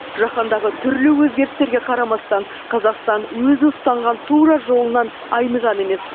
жаһандағы түрлі өзгерістерге қарамастан қазақстан өзі ұстанған тура жолынан айныған емес